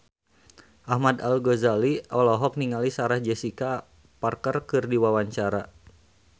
Ahmad Al-Ghazali olohok ningali Sarah Jessica Parker keur diwawancara